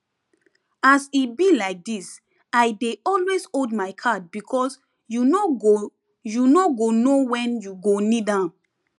as e be like this i dey always hold my card because you no go you no go know when you go need am